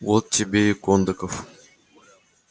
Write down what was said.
вот тебе и кондаков